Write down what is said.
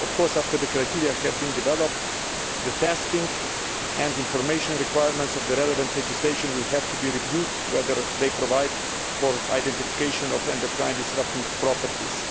After the criteria have been developed, the testing and information requirements of the relevant legislation will have to be reviewed as to whether they provide for identification of endocrine disrupting properties.